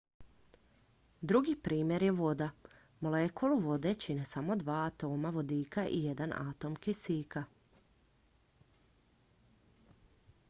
drugi primjer je voda molekulu vode čine dva atoma vodika i jedan atom kisika